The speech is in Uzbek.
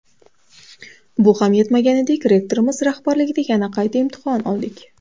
Bu ham yetmaganidek, rektorimiz rahbarligida yana qayta imtihon oldik.